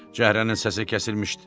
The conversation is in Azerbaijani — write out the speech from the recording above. Cəhrənin səsi kəsilmişdi.